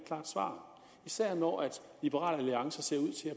klart svar især når liberal alliance ser ud til